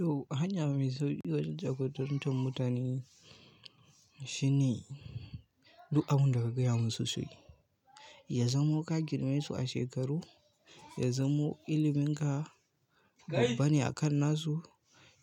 To, hanya mai sauƙi wajen jagorantar mutane shine, duk abun daka gaya musu suyi. Ya zamo ka girmasu a shekaru, ya zamo ilimin ka babba ne akan nasu,